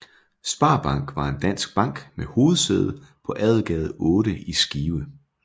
Sparbank var en dansk bank med hovedsæde på Adelgade 8 i Skive